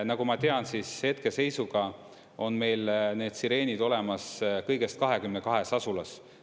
Nagu ma tean, siis hetkeseisuga on meil need sireenid olemas kõigest 22 asulas.